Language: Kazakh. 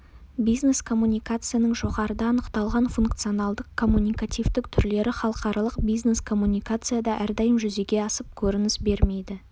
бизнес-коммуникацияның жоғарыда анықталған функционалдық коммуникативтік түрлері халықаралық бизнес коммуникацияда әрдайым жүзеге асып көрініс бермейді